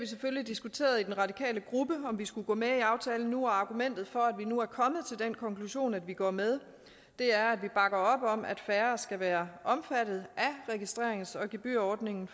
selvfølgelig diskuteret i den radikale gruppe om vi skulle gå med i aftalen nu og argumentet for at vi nu er kommet til den konklusion at vi går med er at vi bakker op om at færre skal være omfattet af registrerings og gebyrordningen